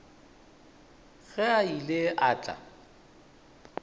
ge a ile a tla